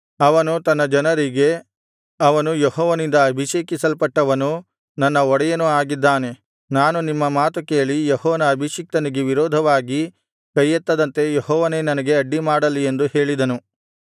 ಅವನು ತನ್ನ ಜನರಿಗೆ ಅವನು ಯೆಹೋವನಿಂದ ಅಭಿಷೇಕಿಸಲ್ಪಟ್ಟವನೂ ನನ್ನ ಒಡೆಯನೂ ಆಗಿದ್ದಾನೆ ನಾನು ನಿಮ್ಮ ಮಾತು ಕೇಳಿ ಯೆಹೋವನ ಅಭಿಷಿಕ್ತನಿಗೆ ವಿರೋಧವಾಗಿ ಕೈಯೆತ್ತದಂತೆ ಯೆಹೋವನೇ ನನಗೆ ಅಡ್ಡಿ ಮಾಡಲಿ ಎಂದು ಹೇಳಿದನು